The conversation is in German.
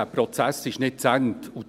Dieser Prozess ist nicht zu Ende.